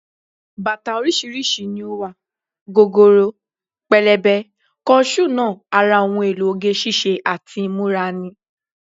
Bàtà oríṣiríṣi ni ó wà, gogoro, pẹlẹbẹ, kọ ṣúù náà ara ohun èlò oge ṣíṣe àti ìmúra ni